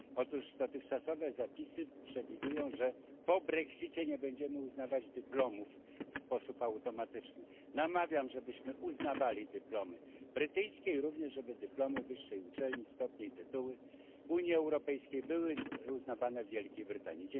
Otóż dotychczasowe zapisy przewidują, że po brexicie nie będziemy uznawać dyplomów w sposób automatyczny. Namawiam, abyśmy uznawali dyplomy brytyjskie, a także aby dyplomy wyższych uczelni, stopnie i tytuły uzyskane w Unii Europejskiej były uznawane w Wielkiej Brytanii.